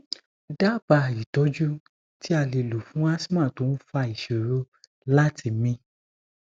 daba itoju ti ale lo fun asthma to n fa isoro lati mi